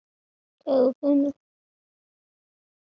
Það er á hreinu.